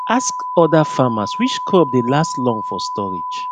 asks other farmers which crop dey last long for storage